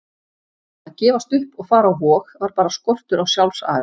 Að gefast upp og fara á Vog var bara skortur á sjálfsaga.